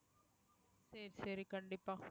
சரி சரி கண்டிப்பா